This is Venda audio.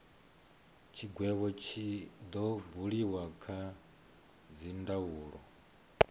tshigwevho tshi do buliwa kha dzindaulo